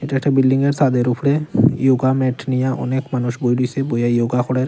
এটা একটা বিল্ডিং -এর ছাদের উপরে ইয়োগা ম্যাট নিয়ে অনেক মানুষ বই রয়েছে বইয়া ইয়োগা করের।